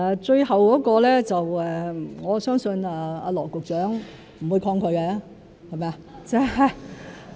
最後的邀約我相信羅局長不會抗拒，是嗎？